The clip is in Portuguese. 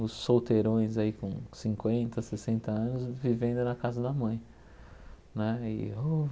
Os solteirões aí com cinquenta, sessenta anos vivendo na casa da mãe. Né e o